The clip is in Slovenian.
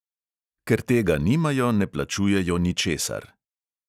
Ker tega nimajo, ne plačujejo ničesar.